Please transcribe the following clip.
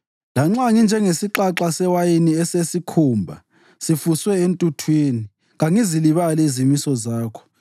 Lanxa nginjengesixaxa sewayini esesikhumba sifuswe entuthwini, kangizilibali izimiso zakho.